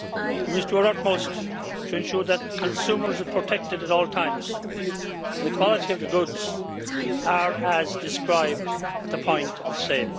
We must do our utmost to ensure that consumers are protected at all times and that the quality of goods is as described at the point of sale.